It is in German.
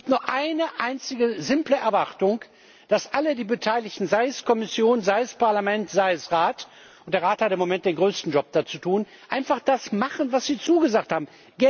Und ich hab nur eine einzige simple Erwartung, nämlich dass alle Beteiligten, sei es Kommission, sei es Parlament, sei es Rat, und der Rat hat da im Moment den größten Job zu tun einfach das machen, was sie zugesagt haben.